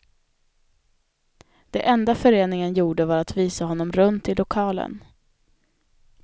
Det enda föreningen gjorde var att visa honom runt i lokalen.